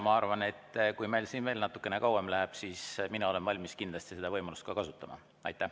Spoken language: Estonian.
Ma arvan, et kui meil siin veel natukene kauem läheb, siis mina kindlasti olen valmis seda võimalust kasutama.